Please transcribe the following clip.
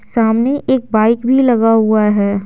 सामने एक बाइक भी लगा हुआ है।